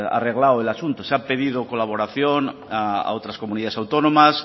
arreglado el asunto se ha pedido colaboración a otras comunidades autónomas